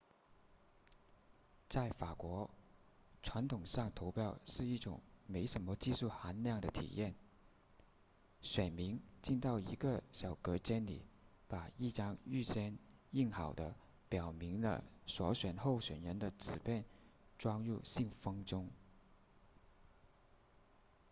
在法国传统上投票是一种没什么技术含量的体验选民进到一个小隔间里把一张预先印好的表明了所选候选人的纸片装入信封中